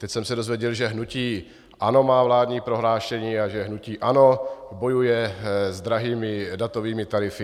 Teď jsem se dozvěděl, že hnutí ANO má vládní prohlášení a že hnutí ANO bojuje s drahými datovými tarify.